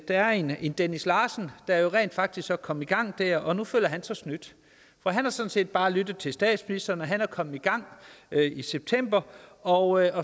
er en dennis larsen der jo rent faktisk kom i gang der og nu følger han sig snydt for han har sådan set bare lyttet til statsministeren han kom i gang i september og